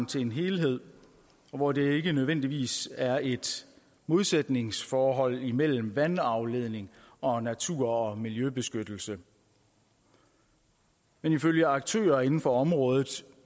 til en helhed og hvor det ikke nødvendigvis er et modsætningsforhold imellem vandafledning og natur og miljøbeskyttelse men ifølge aktører inden for området